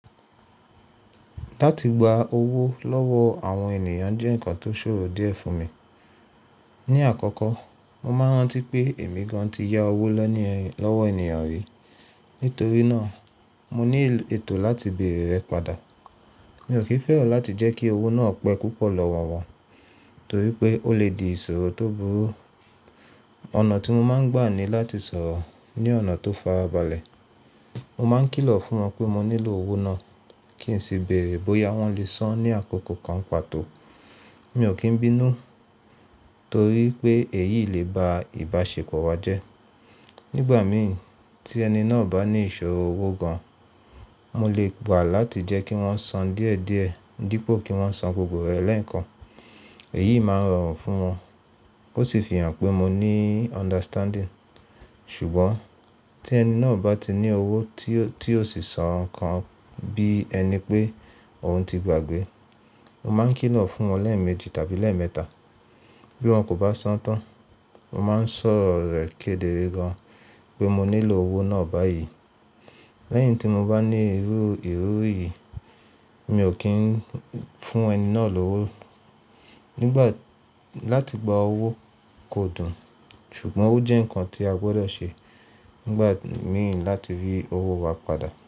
Láti gba owó lọ́wọ́ àwọn ènìyàn jẹ́ ǹkan tó ṣòro díẹ̀ fún mi. Ni àkọ́kọ́, mo máa rántí pé èmi gan ti yá owó lọ́wọ́ ènìyàn rí, nítorí náà mo ní ètò láti bèèrè rẹ̀ padà. Mi ò kí fẹ́ràn láti jẹ́ kí owó náà pẹ́ púpọ̀ lọ́wọ́ wọn, torí pé ó lè di ìṣòro tó burú. Ọ̀nà tí mo máa ń gbà ni láti sọ̀rọ̀ ní ọ̀nà tó farabalẹ̀. Mo máa ń kìlọ̀ fún wọn pé mo nílò owó náà kí n sì bèèrè bóyá wọ́n lè san ní àkókò kan pàtó. Mi ò kín bínú torí pé èyí lè ba ìbáṣepọ̀ wa jẹ́. Nígbà mì tí ẹni náà bá ní ìṣòro owó gan, mo lè gbà láti jẹ́ kí wọ́n san díẹ̀díẹ̀ dípò kí wọ́n san gbogbo rẹ̀ lẹ́ẹ̀kan. Èyí máa rọrùn fún wọn ó sì fi hàn pé mo ní understanding. Ṣùgbọ́n tí ẹni náà bá ti ní owó tí ó sì sọ nǹkan bí ẹni pé òun ti gbàgbé, mo máa ń kìlọ̀ fún wọn lẹ́ẹ̀mejì tàbí lẹ́ẹ̀mẹta. Bí wọn kò bá san tán, mo máa ń sọ̀rọ̀ rẹ̀ kedere gan pé mo nílò owó náà báyìí. Lẹ́yìn tí mo bá ní irú ìró yìí, mi ò kí ń fún ẹni náà lówó. Láti gba owó kò dùn, ṣùgbọ́n ó jẹ́ ǹkan tí a gbọdọ̀ ṣe nígbà mìíràn láti rí owó wa padà.